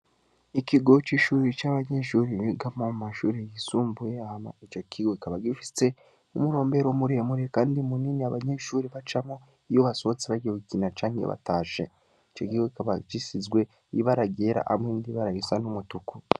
Ikigo c'ishure canke amashure bigamwo mumashure yisumbuye, hama ico kigo kikaba gifise umurombero muremure kandi munini abanyeshure bacamwo, iyo basohotse gukina canke batashe. Ico kigo kikaba gisizwe ibara ryera hamwe n'ibara risa n'umutuku.